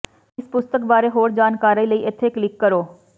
ਇਸ ਪੁਸਤਕ ਬਾਰੇ ਹੋਰ ਜਾਣਕਾਰੀ ਲਈ ਏਥੇ ਕਲਿੱਕ ਕਰੋ